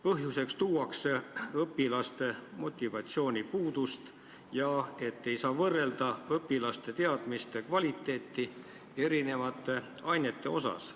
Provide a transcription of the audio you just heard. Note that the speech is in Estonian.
Põhjuseks tuuakse õpilaste motivatsioonipuudust ja seda, et ei saa võrrelda õpilaste teadmiste kvaliteeti erinevate ainete osas.